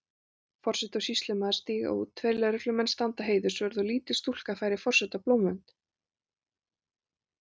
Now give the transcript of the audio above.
Forseti og sýslumaður stíga út, tveir lögreglumenn standa heiðursvörð og lítil stúlka færir forseta blómvönd.